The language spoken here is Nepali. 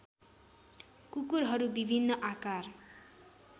कुकुरहरू विभिन्न आकार